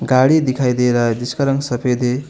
गाड़ी दिखाई दे रहा है जिसका रंग सफेद है।